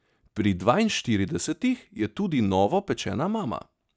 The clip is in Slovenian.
Pri dvainštiridesetih je tudi novopečena mama.